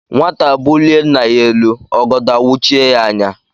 Nwata bulie nna ya elu, ọgọdọ awuchie yá anya